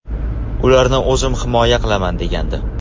Ularni o‘zim himoya qilaman”, degandi.